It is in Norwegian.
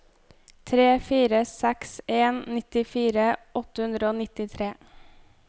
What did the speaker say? tre fire seks en nittifire åtte hundre og nittitre